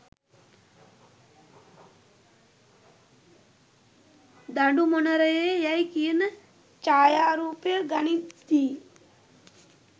දඩුමොනරයේ යැයි කියන ඡායරූපය ගනිද්දී